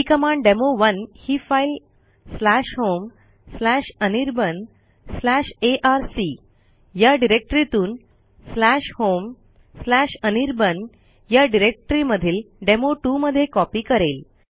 ही command डेमो1 ही file homeanirbanarc या डिरेक्टरीतून homeanirbanया डिरेक्टरीमधील डेमो2 मध्ये कॉपी करेल